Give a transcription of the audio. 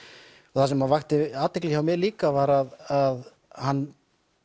og það sem vakti athygli hjá mér líka var að hann